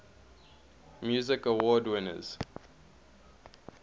music awards winners